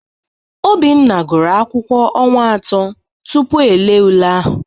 Obinna gụrụ akwụkwọ ọnwa atọ tupu e lee ule ahụ